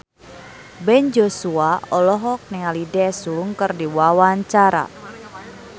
Ben Joshua olohok ningali Daesung keur diwawancara